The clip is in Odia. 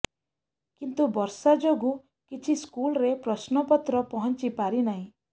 କିନ୍ତୁ ବର୍ଷା ଯୋଗୁଁ କିଛି ସ୍କୁଲରେ ପ୍ରଶ୍ନ ପତ୍ର ପହଞ୍ଚି ପାରିନାହିଁ